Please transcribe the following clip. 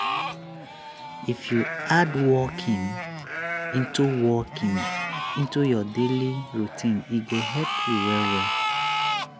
if you add walking into walking into your daily routine e go help you well well.